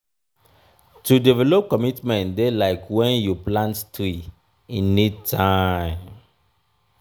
to develop commitment dey like wen you plant tree e need time.